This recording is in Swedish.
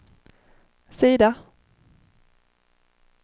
sida